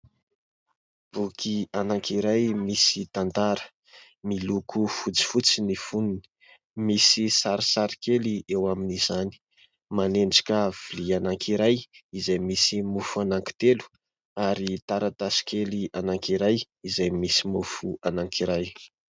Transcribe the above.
Boky iray misy tantara. Miloko fotsifotsy ny fonony , misy sarisary kely eo amin'izany. Manendrika lovia iray izay misy mofo telo ary taratasy kely iray izay misy mofo iray.